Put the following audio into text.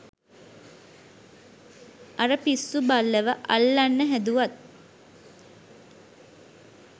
අර පිස්සු බල්ලව අල්ලන්න හැදුවත්